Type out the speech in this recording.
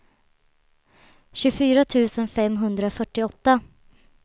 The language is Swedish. tjugofyra tusen femhundrafyrtioåtta